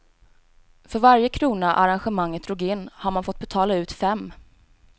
För varje krona arrangemanget drog in har man fått betala ut fem.